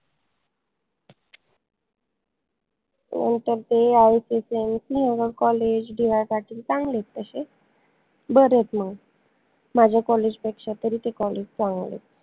नंतर ते ICCMC आय न college चांगलेत तशे बरे आहेत म माझ्या college पेक्षा तरी ते college चांगलेत